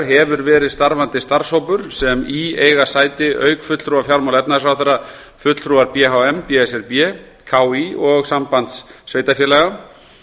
hefur verið starfandi starfshópur sem í eiga sæti auk fulltrúa fjármála og efnahagsráðherra fulltrúar b h m b s r b k í og sambands sveitarfélaga